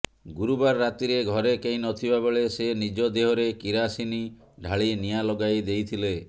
ଗୁରୁବାର ରାତିରେ ଘରେ କେହିି ନଥିବା ବେଳେ ସେ ନିଜ ଦେହରେ କିରାସିନି ଢାଳି ନିଆଁ ଲଗାଇ ଦେଇଥିଲେ